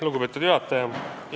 Lugupeetud juhataja!